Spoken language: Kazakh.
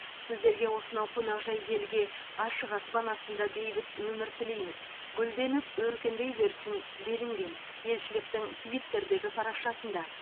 сіздерге осынау қонақжай елге ашық аспан астында бейбіт өмір тілейміз гүлденіп өркендей берсін делінген елшіліктің твиттердегі парақшасында